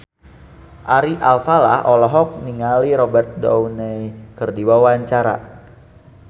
Ari Alfalah olohok ningali Robert Downey keur diwawancara